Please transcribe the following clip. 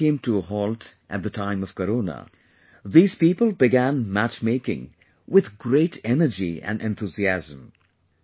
When everything came to a halt at the time of Corona, these people began mat making with great energy and enthusiasm